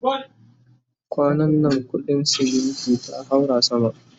kwanan na kudin ceminti ta haura sama